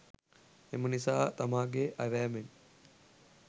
එම නිසා තමාගේ ඇවෑමෙන්